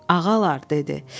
Ağalar, dedi.